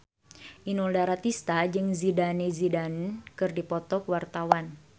Inul Daratista jeung Zidane Zidane keur dipoto ku wartawan